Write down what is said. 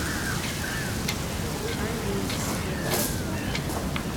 алейске